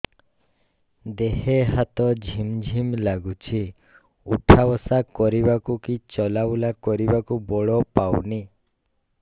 ଦେହେ ହାତ ଝିମ୍ ଝିମ୍ ଲାଗୁଚି ଉଠା ବସା କରିବାକୁ କି ଚଲା ବୁଲା କରିବାକୁ ବଳ ପାଉନି